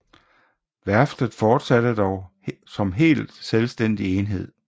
Værftet fortsatte dog som helt selvstændig enhed